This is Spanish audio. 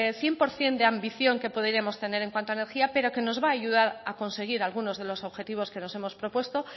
cien por cien de ambición que podríamos tener en cuanto a energía pero que nos va a ayudar a conseguir algunos de los objetivos que nos hemos propuesto